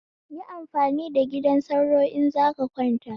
Yi amfani da gidan sauro in zaka kwanta